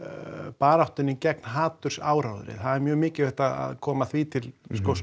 baráttunni gegn hatursáróðri það er mjög mikilvægt að koma því til